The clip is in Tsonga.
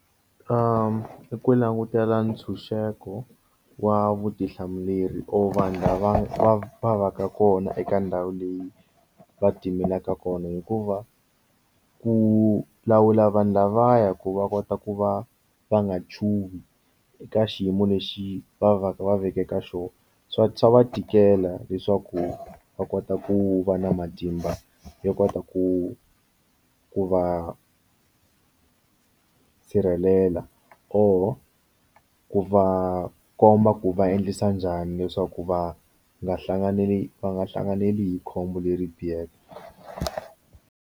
Ku langutela ntshunxeko wa vutihlamuleri or vanhu lava va va va ka kona eka ndhawu leyi va timelaka kona hikuva ku lawula vanhu lavaya ku va kota ku va va nga chuhi eka xiyimo lexi va va va veke ka xona swa swa va tikela leswaku va kota ku va na matimba yo kota ku ku va sirhelela or ku va komba ku va endlisa njhani leswaku va nga hlanganili va nga hlanganele hi khombo leri biheke.